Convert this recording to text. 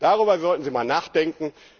Darüber sollten Sie mal nachdenken.